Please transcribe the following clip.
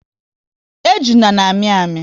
Ejuna na amị amị